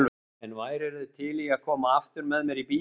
En værirðu til í að koma aftur með mér í bíó?